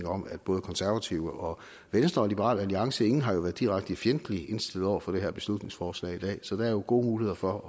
om at både konservative og venstre og liberal alliance kan ingen har været direkte fjendtligt indstillet over for det her beslutningsforslag i dag så der er jo gode muligheder for